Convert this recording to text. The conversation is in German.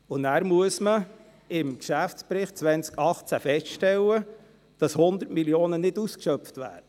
Danach muss man im Geschäftsbericht 2018 feststellen, dass 100 Mio. Franken nicht ausgeschöpft werden.